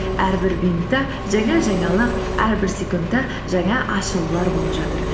әрбір минутта жаңа жаңалық әрбір секундта жаңа ашылулар болып жатыр